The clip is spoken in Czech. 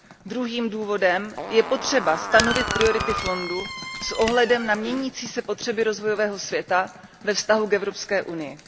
Druhým důvodem je potřeba stanovit priority fondu s ohledem na měnící se potřeby rozvojového světa ve vztahu k Evropské unii.